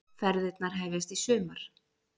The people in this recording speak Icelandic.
Ferðirnar hefjast í sumar